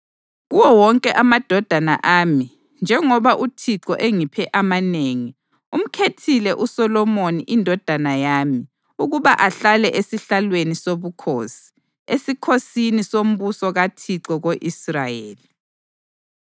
Kuwo wonke amadodana ami njengoba uThixo engiphe amanengi, umkhethile uSolomoni indodana yami ukuba ahlale esihlalweni sobukhosi esikhosini sombuso kaThixo ko-Israyeli.